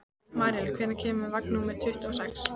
Marinella, hvenær kemur vagn númer tuttugu og sex?